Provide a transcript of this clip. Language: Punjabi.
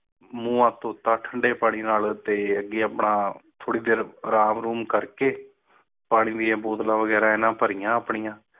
ਮੂੰਹ ਹੱਥ ਧੋਤਾ ਠੰਡੇ ਪਾਣੀ ਦੇ ਨਾਲ ਤੇ ਅਗੇ ਆਪਣਾ ਥੋੜੀ ਦੇਰ ਆਰਾਮ ਅਰੂਮ ਕਰ ਕੇ ਪਾਣੀ ਦੀਆਂ ਬੋਤਲਾਂ ਵਗ਼ੈਰਾ ਭਰੀਆਂ ਇਨ੍ਹਾਂ ਨੇ ਆਪਣੀਆਂ